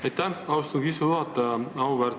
Aitäh, austatud istungi juhataja!